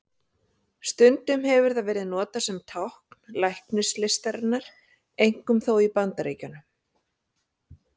Stundum hefur það verið notað sem tákn læknislistarinnar, einkum þó í Bandaríkjunum.